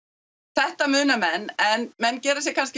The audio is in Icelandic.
þetta muna menn en menn gera sér kannski